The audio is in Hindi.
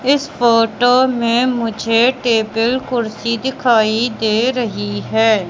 इस फोटो में मुझे टेबल कुर्सी दिखाई दे रही है।